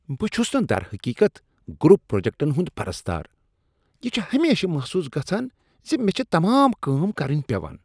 بہٕ چھٗس نہٕ در حقیقت گروپ پروجیکٹن ہٗند پرستار۔ یہ چھ ہمیشہٕ محسوس گژھان ز مے٘ چھِ تمام كٲم کرٕنۍ پیوان ۔